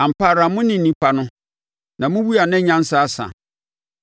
“Ampa ara mone nnipa no, na mowu a na nyansa asa!